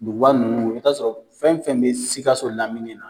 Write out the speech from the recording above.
Duguba ninnu i b'a sɔrɔ fɛn o fɛn bɛ Sikaso lamini na